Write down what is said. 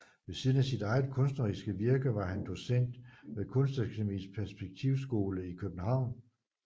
Ved siden af sit eget kunstneriske virke var han docent ved kunstakademiets perspektivskole i København